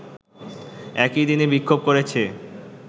একই দিনে বিক্ষোভ করেছে